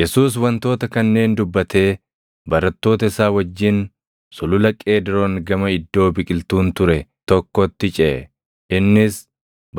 Yesuus wantoota kanneen dubbatee barattoota isaa wajjin Sulula Qeediroon gama iddoo biqiltuun ture tokkotti ceʼe; innis,